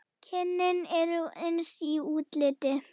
Kynin eru eins í útliti.